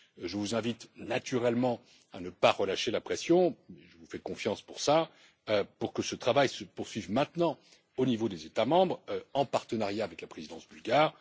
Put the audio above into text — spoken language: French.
Je vous invite naturellement à ne pas relâcher la pression je vous fais confiance pour cela pour que ce travail se poursuive maintenant au niveau des États membres en partenariat avec la présidence bulgare.